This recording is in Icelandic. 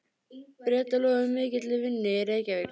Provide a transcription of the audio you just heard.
Bretar lofuðu mikilli vinnu í Reykjavík.